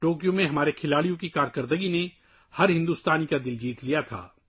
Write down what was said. Tokyo میں ہمارے کھلاڑیوں کی کارکردگی نے ہر ہندوستانی کا دل جیت لیا تھا